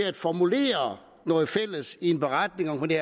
at formulere noget fælles i en beretning om det